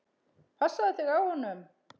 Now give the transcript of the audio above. Passaðu þig á honum.